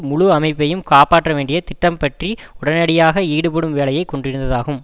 முழு அமைப்பையும் காப்பாற்றவேண்டிய திட்டம் பற்றி உடனடியாக ஈடுபடும் வேலையை கொண்டிருந்ததாகும்